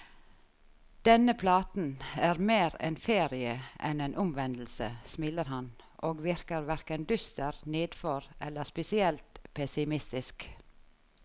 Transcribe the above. Denne platen er mer en ferie enn en omvendelse, smiler han, og virker hverken dyster, nedfor eller spesielt pessimistisk.